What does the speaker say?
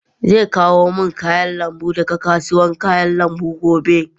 Zai kawo min kayan lambu daga kasuwar kayan lambu gobe.